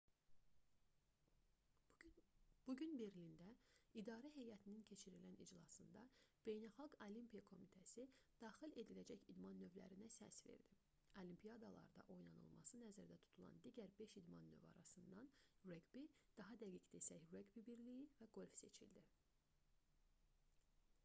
bu gün berlində idarə heyətinin keçirilən iclasında beynəlxalq olimpiya komitəsi daxil ediləcək idman növlərinə səs verdi olimpiadalarda oynanılması nəzərdə tutulan digər beş idman növü arasından reqbi daha dəqiq desək reqbi birliyi və qolf seçildi